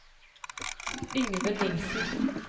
Yngve Nilsen